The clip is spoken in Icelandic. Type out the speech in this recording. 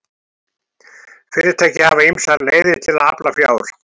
Fyrirtæki hafa ýmsar leiðir til að afla fjár.